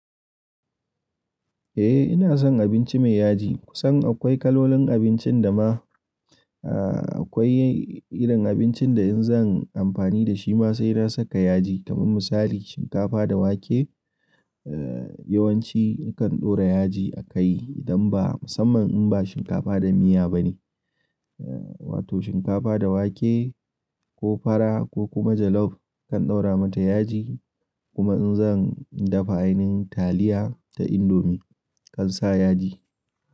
Eh ina son abinci mai yaji. Kusan akwai kalolin abincin da ma, eh akwai irin abincin da in zan amfani da shi ma sai na saka yaji. Kaman misali shinkafa da wake, eh yawanci nakan ɗora yaji a kai idan ba, musamman in ba shinkafa da miya ba ne. Wato shinkafa da wake ko fara ko kuma jollof kan ɗaura mata yaji. Kuma in zan dafa ainin taliya da indomie kan sa yaji.